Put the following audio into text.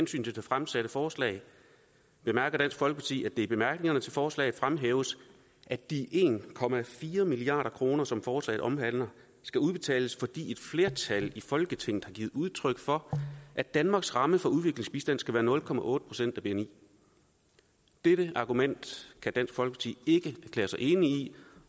til det fremsatte forslag bemærker dansk folkeparti at det i bemærkningerne til forslaget fremhæves at de en milliard kr som forslaget omhandler skal udbetales fordi et flertal i folketinget har givet udtryk for at danmarks ramme for udviklingsbistand skal være nul procent af bni dette argument kan dansk folkeparti ikke erklære sig enig i